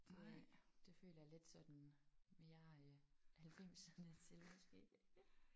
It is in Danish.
Det er ikke det føler jeg er lidt sådan mere øh halvfemserne til måske